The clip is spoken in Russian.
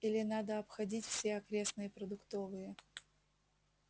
или надо обходить все окрестные продуктовые